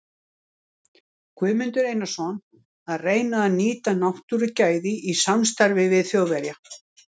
Guðmundur Einarsson, að reyna að nýta náttúrugæði í samstarfi við Þjóðverja.